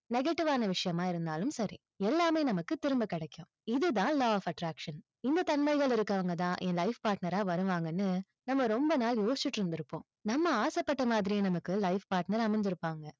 negative வான விஷயமா இருந்தாலும் சரி. எல்லாமே நமக்கு திரும்ப கிடைக்கும். இதுதான் law of attraction இந்த தன்மைகள் இருக்கவங்க தான் என் life partner ஆ வருவாங்கன்னு, நம்ம ரொம்ப நாள் யோசிச்சிட்டு இருந்திருப்போம். நம்ம ஆசைப்பட்ட மாதிரியே நமக்கு life partner அமஞ்சிருப்பாங்க.